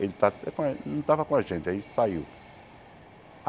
Ele está até com a não estava com a gente, aí saiu.